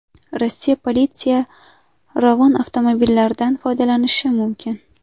Rossiya politsiyasi Ravon avtomobillaridan foydalanishi mumkin.